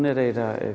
er eiginlega